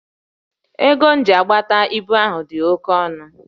Ego e ji agbapụta ibu ahụ dị oke ọnụ